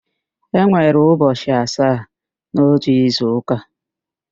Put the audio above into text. E nwere ụbọchị asaa n'ótù izuụ́kà.